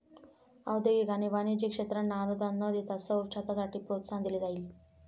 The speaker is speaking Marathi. औद्योगिक आणि वाणिज्यिक क्षेत्रांना अनुदान न देता सौर छतासाठी प्रोत्साहन दिले जाईल.